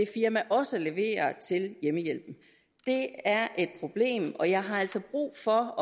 firma også leverer til hjemmehjælpen det er et problem og jeg har altså brug for